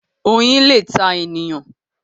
Oyin lẹ tá èèyàn.